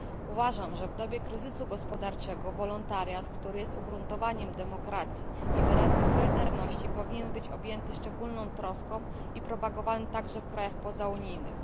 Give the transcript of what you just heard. Uważam, że w dobie kryzysu gospodarczego wolontariat, który jest ugruntowaniem demokracji i wyrazem solidarności, powinien być objęty szczególną troską i propagowany także w krajach pozaunijnych.